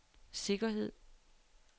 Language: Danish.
sikkerhed